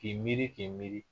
K'i miiri k'i miiri